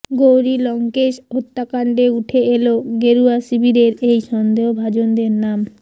গৌরী লঙ্কেশ হত্যাকাণ্ডে উঠে এল গেরুয়া শিবিরের এই সন্দেহভাজনদের নাম